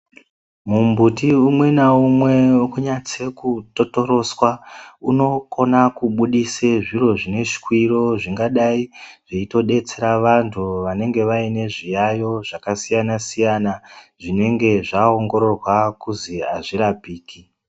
Mumbuti umwe naumwe unonyatse kutotorotsa unokona kubudisa zviro zvineswiro. Zvingadai zveitobetsera vantu vanenge vaine zviyaiyo zvakasiyana-siyana, zvinenge zvaongororwa kuzi hazvirapiki.